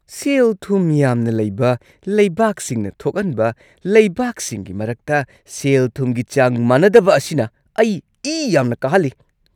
ꯁꯦꯜ-ꯊꯨꯝ ꯌꯥꯝꯅ ꯂꯩꯕ ꯂꯩꯕꯥꯛꯁꯤꯡꯅ ꯊꯣꯛꯍꯟꯕ ꯂꯩꯕꯥꯛꯁꯤꯡꯒꯤ ꯃꯔꯛꯇ ꯁꯦꯜ-ꯊꯨꯝꯒꯤ ꯆꯥꯡ ꯃꯥꯟꯅꯗꯕ ꯑꯁꯤꯅ ꯑꯩ ꯏ ꯌꯥꯝꯅ ꯀꯥꯍꯜꯂꯤ꯫